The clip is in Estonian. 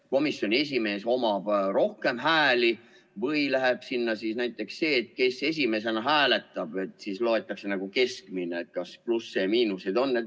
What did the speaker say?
Kas komisjoni esimehel on rohkem hääli või läheb arvesse näiteks see, et kes esimesena hääletab, ja siis arvestatakse nagu keskmine ja kas plusse ja miinuseid on?